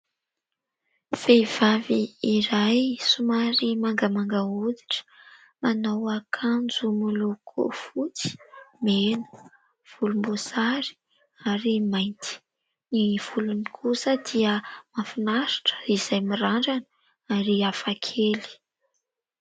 Vehivavy iray somary mangamanga hoditra manao akanjo miloko fotsy, mena, volomboasary ary mainty. Ny volony kosa dia mahafinaritra izay mirandrana ary hafa kely.